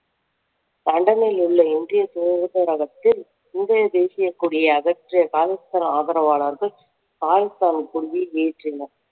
லண்டனில் உள்ள இந்திய தூதரகத்தில் இந்திய தேசியக் கொடியை அகற்றிய காலிஸ்தான் ஆதரவாளர்கள் காலிஸ்தான் கொடியை ஏற்றினர்